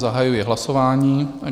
Zahajuji hlasování.